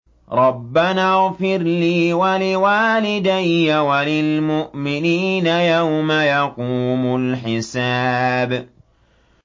رَبَّنَا اغْفِرْ لِي وَلِوَالِدَيَّ وَلِلْمُؤْمِنِينَ يَوْمَ يَقُومُ الْحِسَابُ